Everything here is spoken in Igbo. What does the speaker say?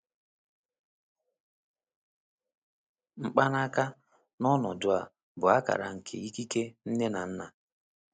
Mkpanaka, n’ọnọdụ a, bụ akara nke ikike nne na nna.